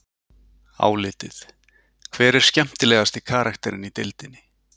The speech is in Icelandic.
Álitið: Hver er skemmtilegasti karakterinn í deildinni?